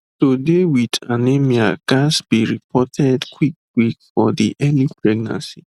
to dey wit anemia ghats be reported quick quick for de early pregnancy